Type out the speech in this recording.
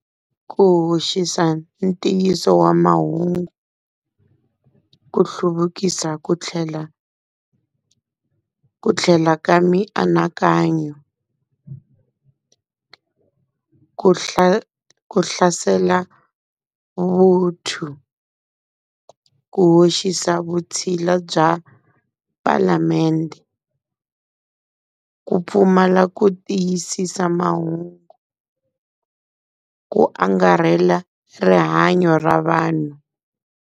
Ku hoxisa ntiyiso wa mahungu, ku hluvukisa ku tlhela ku tlhela ka mianakanyo, ku ku hlasela vuthu, ku hoxisa vutshila bya palamende, ku pfumala ku tiyisisa mahungu, ku angarhela rihanyo ra vanhu.